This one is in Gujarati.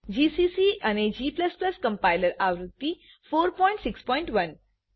જીસીસી અને g કમ્પાઈલર આવૃત્તિ 461